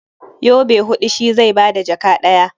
Yobe huɗu shi zai ba da jaka ɗaya.